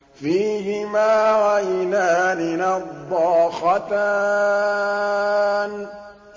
فِيهِمَا عَيْنَانِ نَضَّاخَتَانِ